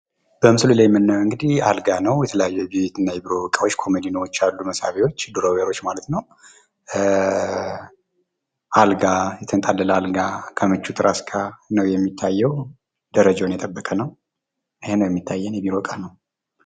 በምስሉ ላይ የምናየው እንግዲህ አልጋ ነው የተለያዩ የቤት እና የቢሮ እቃዎች አሉ መሳቢያዎች ድሮቤሮች ማለት ነው። አልጋ የተንጣለለ አልጋ ከምቹ ትራስ ጋር ነው የሚታየው ፤ ደረጃውን የጠበቀ ነው።